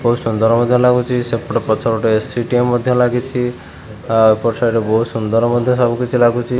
ବହୁତ ସୁନ୍ଦର ମଧ୍ୟ ଲଗୁଛି ସେପଟେ ପଛପଟେ ଏ_ସି ଟିଏ ମଧ୍ୟ ଲାଗିଛି ଏପଟେ ସାଇଡ ବହୁତ୍ ସୁନ୍ଦର ମଧ୍ୟ ସବୁକିଛି ଲାଗୁଛି।